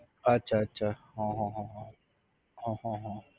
અચ્છા અચ્છા હ હ હ હ હ હ